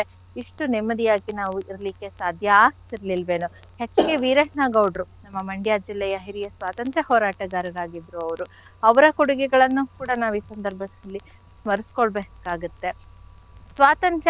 ಇಷ್ಟು ನೆಮ್ಮದಿಯಾಗಿ ನಾವು ಇರ್ಲಿಕ್ಕೆ ಸಾಧ್ಯ ಆಗ್ತಿರ್ಲಿಲ್ವೇನೋ, actually H K ವೀರಣ್ಣಾ ಗೌಡ್ರು ನಮ್ಮ Mandya ಜಿಲ್ಲೆಯ ಹಿರಿಯ ಸ್ವಾತಂತ್ರ್ಯ ಹೋರಾಟಗಾರರಾಗಿದ್ರು ಅವ್ರು ಅವ್ರ ಕೊಡುಗೆಗಳನ್ನು ಕೂಡ ನಾವು ಈ ಸಂಧರ್ಭದಲ್ಲಿ ಸ್ಮರಿಸ್ಕೊ ಬೇಕಾಗತ್ತೆ. ಸ್ವಾತಂತ್ರ್ಯ